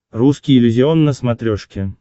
русский иллюзион на смотрешке